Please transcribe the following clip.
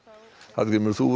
Hallgrímur þú